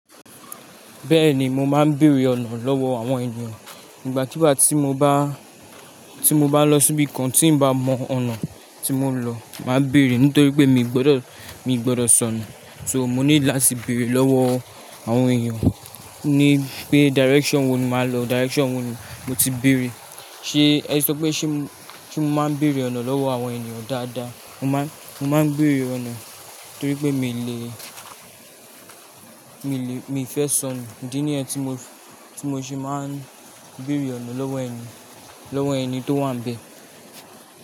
Bẹ́ẹ̀ni, mo máa ń bèerè ọ̀nà lọ́wọ́ àwọn ènìyàn. Igbà kigba tí mo bá, tí mo bá lọ síbi kan tí n ba mọ ọ̀nà tí mo ń lọ, màá béèrè. Nítorí pé mi ò gbọdọ̀, mi ò gbọdọ̀ sọnù. So, mo need láti bèerè lọ́wọ́ àwọn èeyan ní pé direction wo ni máa lọ, direction wo ni mo ti bèerè. Ṣé ẹ ti sọ pé ṣé, ṣé mo máa ń bèrrè ọ̀nà lọ́wọ́ àwọn èniyan dáadáa? Mo máa ń, mo máa ń bèerè ọ̀nà torí pé mi lè, mi lè, mi ò fẹ́ sọnù. Idi ní yẹ tí mo fi, tí mo ṣe máa ń bèerè ọ̀nà lọ́wọ́ ẹni, lọ́wọ́ ẹni tó wà n bẹ̀.